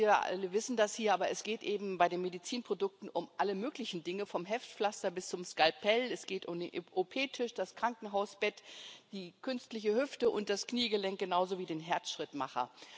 Wir alle wissen das hier, aber es geht eben bei den Medizinprodukten um alle möglichen Dinge, vom Heftpflaster bis zum Skalpell, es geht um den OP Tisch, das Krankenhausbett, die künstliche Hüfte und das Kniegelenk genauso wie den Herzschrittmacher.